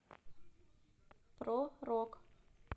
про рок